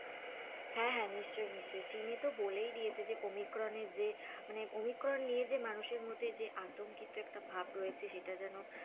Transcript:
হ্যাঁ হ্যাঁ নিশ্চয়ই নিশ্চয়ই, চীনে তো বলেই দিয়েছে যে ওমিক্রন এর যে মানে ওমিক্রন নিয়ে যে মানুষের মধ্যে যে আতঙ্কিত একটা ভাব রয়েছে সেটা যেন,